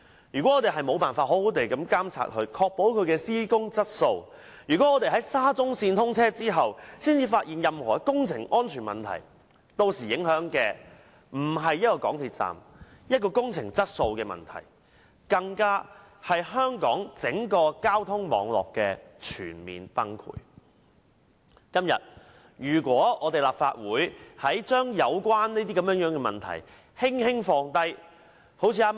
如果我們無法好好監察這項工程並確保其施工質素；如果我們在沙中線通車後才發現任何工程安全問題，屆時受影響的將不止是一個港鐵站，整件事將不再是工程質素問題，因為這會令香港整個公共交通網絡面臨全面崩潰。今天，如果立法會將有關問題輕輕放下......